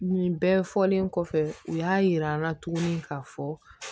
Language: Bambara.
Nin bɛɛ fɔlen kɔfɛ u y'a yir'an na tuguni k'a fɔ